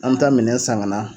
An bɛ taa minɛn san ŋana